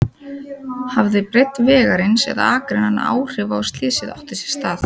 Hafði breidd vegarins eða akreinanna áhrif á að slysið átti sér stað?